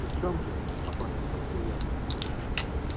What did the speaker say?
и в чём же покорно спросил я